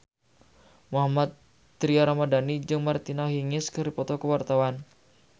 Mohammad Tria Ramadhani jeung Martina Hingis keur dipoto ku wartawan